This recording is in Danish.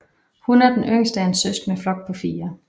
Hun er den yngste af en søsterflok på fire